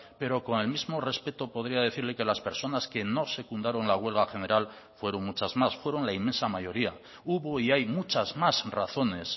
pero con el mismo respeto podría decirle que las personas que no secundaron la huelga general fueron muchas más fueron la inmensa mayoría hubo y hay muchas más razones